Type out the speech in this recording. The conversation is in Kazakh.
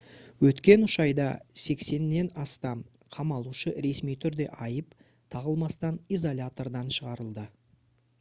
өткен 3 айда 80-нен астам қамалушы ресми түрде айып тағылмастан изолятордан шығарылды